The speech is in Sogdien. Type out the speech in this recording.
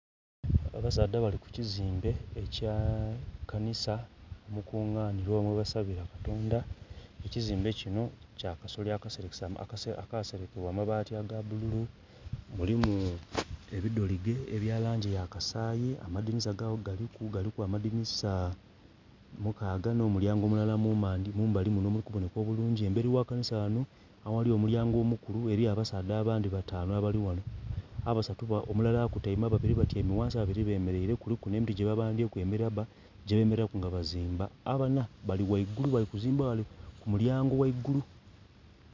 Abasaadha bali ku kizimbe kya kanisa omukunganhirwa oba omusaborwa katonda ekizimbe kino kya kasolya akaserekebwa amabati aga bulu mulimu ebidhologe eya langi eya kasayi amadhinisa gago galiku, galiku amadhinisa mukaga nho mu lyango mulala mu mandhi mumbali muno omuli kubonheka obulungi. Emberi ghaligho kanisa ghano aghali omulyango omukulu ghaligho abasaadha abandhi batanu abali ghano, omulala akutaime ababiri batyaime ghansi ababiri bemereire kuliku nhe endhu gye ba bambyeku emilabba gye bemereraku nga bazimba, abana bali ghaigulu bali kuzimba ghaigulu.